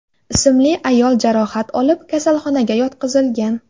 ismli ayol jarohat olib, kasalxonaga yotqizilgan.